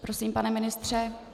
Prosím, pane ministře.